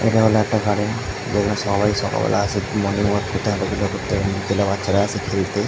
এটা হলো একটা গার্ডেন যেখানে সবাই সকালবেলা আসে মর্নিংওয়াল্ক করতে হাঁটা চলা করতে এখানে বাচ্চারা আসে খেলতে ।